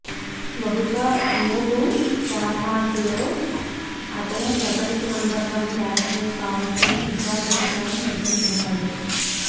బహుశా మూటు ఫార్మాట్లలో అతనే ప్రపంచ నంబర్ వన్ బ్యాట్స్మెన్ కావొచ్చు అని ఇక్బాల్ అభిప్రాయం వ్యక్తం చేశాడు